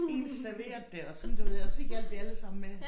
Én serverede det og sådan du ved så hjalp vi alle sammen med